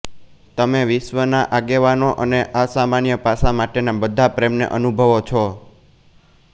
તમે વિશ્વના આગેવાનો અને અસામાન્ય પાસાં માટેના બધા પ્રેમને અનુભવો છો